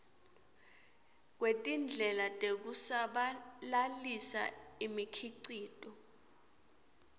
kwetindlela tekusabalalisa imikhicito